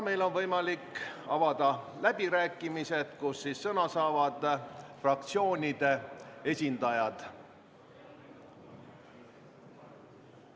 Meil on võimalik avada läbirääkimised, kus sõna saavad fraktsioonide esindajad.